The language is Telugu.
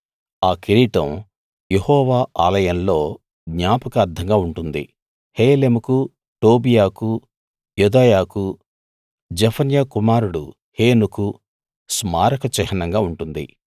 ఆ కిరీటం యెహోవా ఆలయంలో జ్ఞాపకార్థంగా ఉంటుంది హేలెముకు టోబీయాకు యెదాయాకు జెఫన్యా కుమారుడు హేనుకు స్మారక చిహ్నంగా ఉంటుంది